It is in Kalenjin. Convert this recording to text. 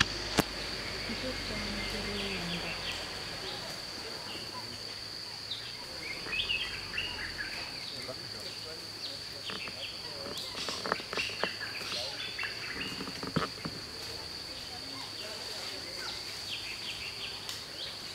Kichoptoi ano koroi en gaa?